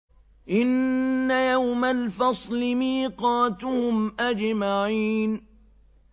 إِنَّ يَوْمَ الْفَصْلِ مِيقَاتُهُمْ أَجْمَعِينَ